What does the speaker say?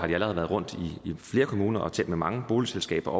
de allerede været rundt i flere kommuner og talt med mange boligselskaber